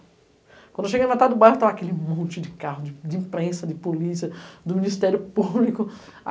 Quando eu cheguei na metade do bairro, estava aquele monte de carro, de imprensa, de polícia, do Ministério Público.